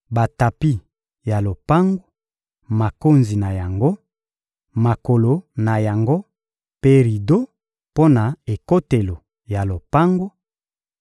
batapi ya lopango, makonzi na yango, makolo na yango mpe rido mpo na ekotelo ya lopango,